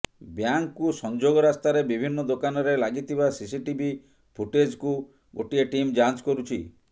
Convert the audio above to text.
ବ୍ୟାଙ୍କ୍କୁ ସଂଯୋଗ ରାସ୍ତାରେ ବିଭିନ୍ନ ଦୋକାନରେ ଲାଗିଥିବା ସିସି ଟିଭି ଫୁଟେଜ୍କୁ ଗୋଟିଏ ଟିମ୍ ଯାଞ୍ଚ କରୁଛି